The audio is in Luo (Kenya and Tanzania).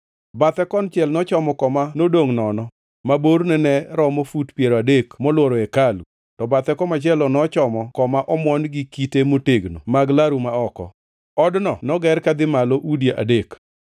Bathe konchiel nochomo koma nodongʼ nono ma borne ne romo fut piero adek molworo hekalu, to bathe komachielo nochomo koma omuon gi kite motegno mag laru ma oko. Odno noger kadhi malo udi adek.